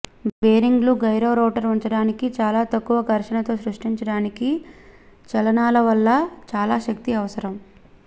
బేరింగ్లు gyro rotor ఉంచడానికి చాలా తక్కువ ఘర్షణతో సృష్టించడానికి చలనాలవల్ల చాలా శక్తి అవసరం